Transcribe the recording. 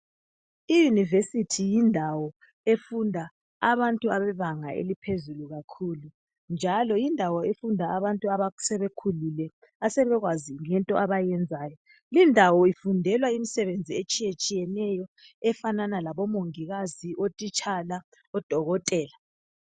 I univesithi yindawo efunda abantu abebanga elokufunda elaphezulu kakhulu njalo yindawo efunda abantu asebekhulile asebekwazi into abayiyenzayo lindawo ifundelwa imisebenzi etshiyeneyo efana labo mongikazi, othitsha labo dokotela